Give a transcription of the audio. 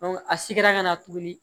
a sigira ka na tuguni